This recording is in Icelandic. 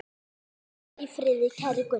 Hvíl í friði, kæri Gunnar.